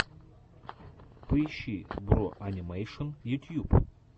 поищи бро анимэйшн ютьюб